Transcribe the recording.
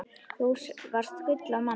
Þú varst gull af manni.